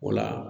O la